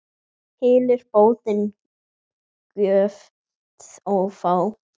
Hylur bótin göt ófá.